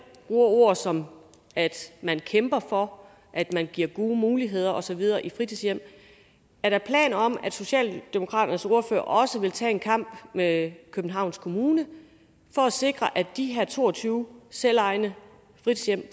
ord som at man kæmper for at man giver gode muligheder og så videre i fritidshjem er der planer om at socialdemokraternes ordfører også vil tage en kamp med københavns kommune for at sikre at de her to og tyve selvejende fritidshjem